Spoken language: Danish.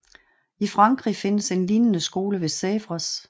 I Frankrig findes en lignende skole ved Sèvres